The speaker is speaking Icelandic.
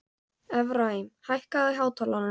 Efraím, hækkaðu í hátalaranum.